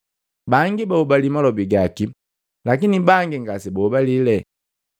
Bangi bahobali malobi gaki, lakini bangi ngase bahobalile.